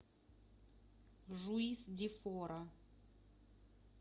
жуис ди фора